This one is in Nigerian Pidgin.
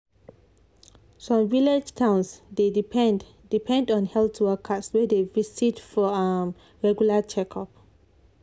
some village towns dey depend depend on health workers wey dey visit for um regular checkup.